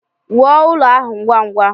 Wuo ụlọ ahụ ngwa ngwa!